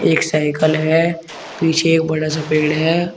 एक साइकल है पीछे एक बड़ा सा पेड़ है।